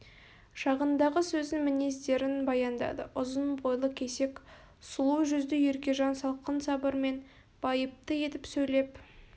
шағындағы сөзін мінездерін баяндады ұзын бойлы кесек сұлу жүзді еркежан салқын сабырмен байыпты етіп сөйлеп